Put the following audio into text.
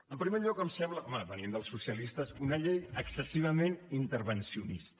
en primer lloc em sembla home venint dels socialistes una llei excessivament intervencionista